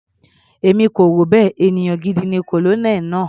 Èmi kò rò bẹ́ẹ̀, ènìyàn gidi ni Colonel náà.